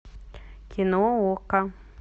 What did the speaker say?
кино окко